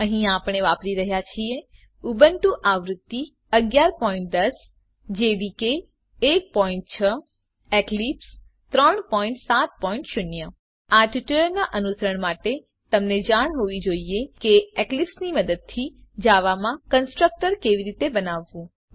અહીં આપણે વાપરી રહ્યા છીએ ઉબુન્ટુ આવૃત્તિ ૧૧૧૦ જેડીકે ૧૬ એક્લીપ્સ ૩૭૦ આ ટ્યુટોરીયલનાં અનુસરણ માટે તમને જાણ હોવી જોઈએ કે એક્લીપ્સ ની મદદથી જાવા માં કન્સ્ટ્રકટર કેવી રીતે બનાવવું